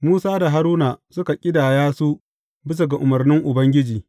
Musa da Haruna suka ƙidaya su bisa ga umarnin Ubangiji.